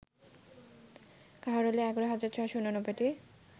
কাহারোলে ১১ হাজার ৬৮৯টি